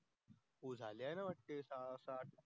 झाले असतील पाच सात